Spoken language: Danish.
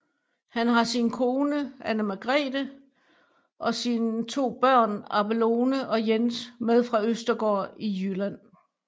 Han har sin kone Ane Margrethe og sine to børn Abelone og Jens med fra Østergaard i Jylland